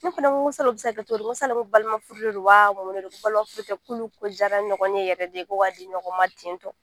Ne fana ko sala o bɛ se ka kɛ cogo di ko sala ko balimafuru de don wa un de don k'olu kodiyara ɲɔgɔn ye yɛrɛ de ko ka di ɲɔgɔn ma ten tɔ